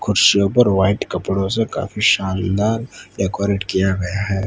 कुर्सियों पर व्हाइट कपड़ो से काफी शानदार डेकोरेट किया गया है।